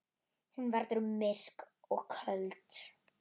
Hún verður myrk og köld í dag.